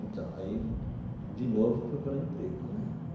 Então, aí de novo procurar emprego, né?